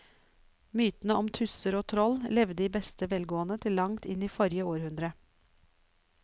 Mytene om tusser og troll levde i beste velgående til langt inn i forrige århundre.